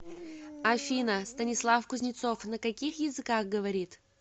афина станислав кузнецов на каких языках говорит